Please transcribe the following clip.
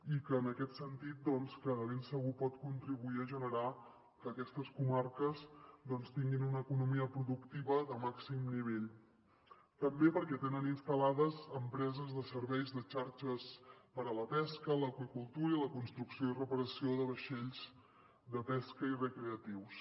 i en aquest sentit de ben segur pot contribuir a generar que aquestes comarques doncs tinguin una economia productiva de màxim nivell també perquè tenen instal·lades empreses de serveis de xarxes per a la pesca l’aqüicultura i la construcció i reparació de vaixells de pesca i recreatius